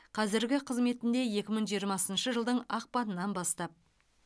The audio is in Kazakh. қазіргі қызметінде екі мың жиырмасыншы жылдың ақпанынан бастап